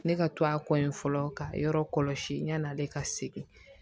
Ne ka to a kɔ ye fɔlɔ ka yɔrɔ kɔlɔsi yan' ale ka segin